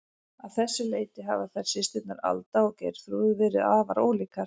Að þessu leyti hafa þær systurnar, Alda og Geirþrúður, verið afar ólíkar.